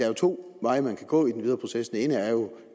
er to veje man kan gå i den videre proces den ene er jo